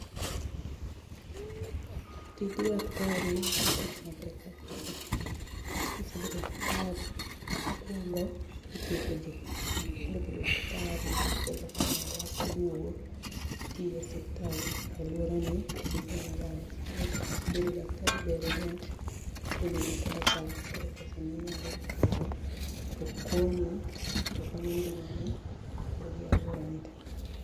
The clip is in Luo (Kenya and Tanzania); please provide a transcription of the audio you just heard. tij Daktari en tich maber kabisa, nikech kisebedo Daktari mokwongo ithiedhoji, kisebedo Daktari ithietho kamoro kasto iduogo itiyo e osiptal aluorani bedo daktari bedone yot bedo gi pesa koro pesano inyalo kawo tokonyi tokonyo ngimani to gi aluorani ni tee.